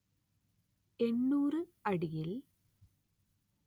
എന്‍നൂര്‍ അടിയിൽ